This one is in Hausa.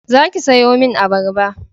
Za ki sayo min abarba